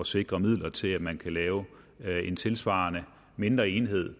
sikre midler til at man kan lave en tilsvarende mindre enhed